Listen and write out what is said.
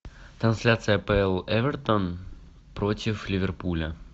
трансляция апл эвертон против ливерпуля